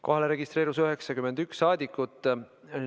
Kohalolijaks registreerus 91 rahvasaadikut.